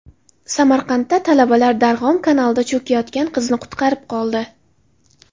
Samarqandda talabalar Darg‘om kanalida cho‘kayotgan qizni qutqarib qoldi.